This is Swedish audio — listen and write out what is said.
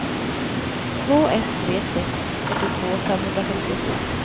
två ett tre sex fyrtiotvå femhundrafemtiofyra